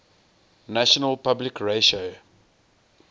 national public radio